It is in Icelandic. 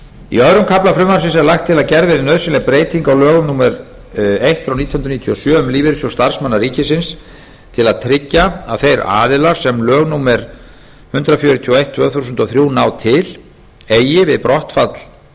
í öðrum kafla frumvarpsins er lagt til að gerð verði nauðsynleg breyting á lögum númer eitt nítján hundruð níutíu og sjö um lífeyrissjóð starfsmanna ríkisins til að tryggja að þeir aðilar sem lög númer hundrað fjörutíu og eitt tvö þúsund og þrjú ná til eigi við brottfall